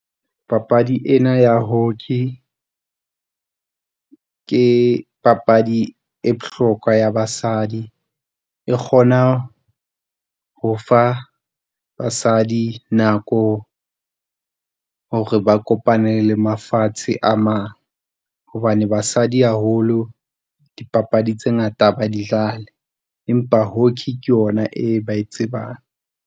Papadi ena ya hockey ke papadi e bohlokwa ya basadi. E kgona ho fa basadi nako hore ba kopane le mafatshe a mang, hobane basadi haholo dipapadi tse ngata ba di dlale, empa hockey ke ona e ba e tsebang.